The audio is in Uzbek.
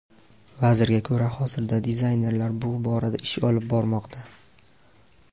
Vazirga ko‘ra, hozirda dizaynerlar bu borada ish olib bormoqda.